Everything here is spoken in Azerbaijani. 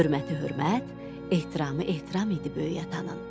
Hörməti hörmət, ehtiramı ehtiram idi böyük atanın.